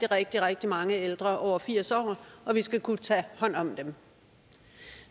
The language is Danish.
rigtig rigtig mange ældre over firs år og vi skal kunne tage hånd om dem